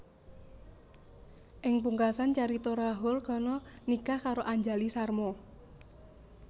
Ing pungkasan carita Rahul Khanna nikah karo Anjali Sharma